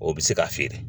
O bɛ se ka feere